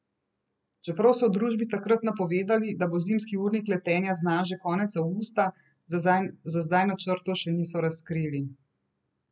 Čeprav so v družbi takrat napovedali, da bo zimski urnik letenja znan že konec avgusta, za zdaj načrtov še niso razkrili.